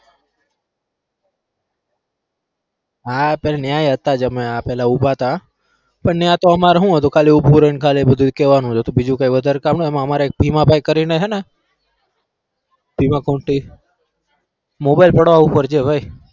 હા પેલા ત્યાં હતા જ અમે ત્યાં ઉભા હતા પણ ઈયા અમારે હું હતું ખાલી ઉભું રઈ ને ખાલી બધું કહેવાનું જ હતું બીજું કઈ વધારે કામ ના હોય એમાં અમારે એક ભીમા ભાઈ કરીને હે ને mobile પાડવા ઉપર છે ભાઈ.